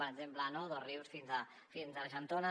per exemple de dosrius fins a argentona